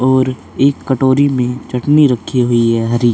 और एक कटोरी में चटनी रखी हुई है हरी--